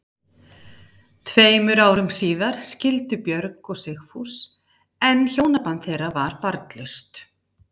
Tveimur árum síðar skildu Björg og Sigfús en hjónaband þeirra var barnlaust.